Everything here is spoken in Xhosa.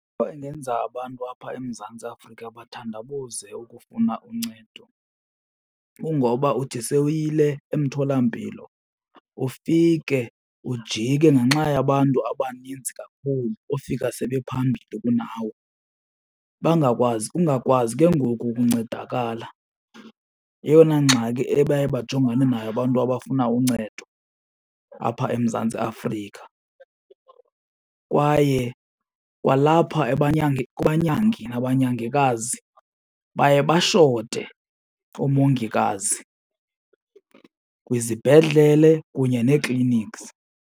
Into ingenza abantu apha eMzantsi Afrika bathandabuze ukufuna uncedo kungoba uthi sewuyile emtholampilo ufike ujike ngenxa yabantu abanintsi kakhulu ofika sebe phambili kunawe. Bangakwazi, ungakwazi ke ngoku ukuncedakala yeyona ngxaki ebaye bajongane nayo abantu abafuna uncedo apha eMzantsi Afrika. Kwaye kwalapha kubanyangi nabanyagikazi, baye bashote oomongikazi kwizibhedlele kunye nee-clinics.